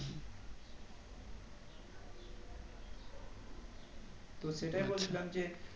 তো সেটাই বলছিলাম যে